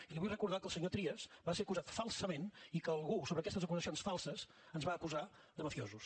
i li vull recordar que el senyor trias va ser acusat falsament i que algú sobre aquestes acusacions falses ens va acusar de mafiosos